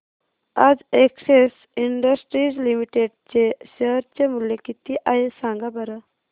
आज Excel Industries Limited चे share चे मूल्य किती आहे सांगा बरं